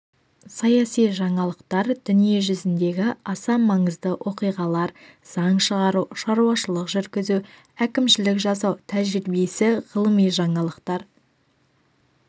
саяси жаңалықтар дүние жүзіндегі аса маңызды оқиғалар заң шығару шаруашылық жүргізу әкімшілік жасау тәжірибесі ғылыми жаңалықтар